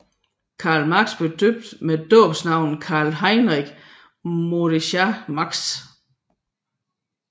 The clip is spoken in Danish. Karl Marx blev døbt med dåbsnavnet Karl Heinrich Mordechai Marx